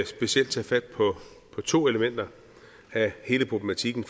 specielt tage fat på to elementer af hele problematikken